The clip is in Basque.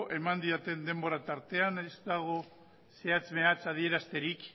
eman didaten denbora tartean ez dago zehatz mehatz adierazterik